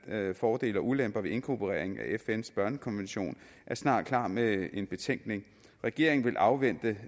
af fordele og ulemper ved inkorporering af fns børnekonvention er snart klar med en betænkning regeringen vil afvente